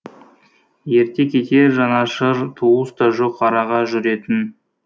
ерте кетер жанашыр туыс та жоқ араға жүретін